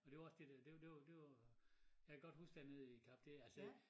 Og det var også det dér det det det var jeg kan godt huske dernede i cafeteriet altså